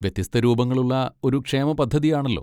വ്യത്യസ്ത രൂപങ്ങളുള്ള ഒരു ക്ഷേമപദ്ധതിയാണല്ലോ.